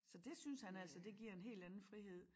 Så dét synes han altså det giver en helt anden frihed